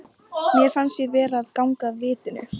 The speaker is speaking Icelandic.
Mér fannst ég vera að ganga af vitinu.